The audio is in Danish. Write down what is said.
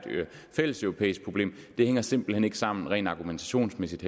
fælleseuropæisk problem hænger simpelt hen ikke sammen rent argumentationsmæssigt